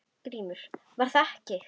GRÍMUR: Var það ekki!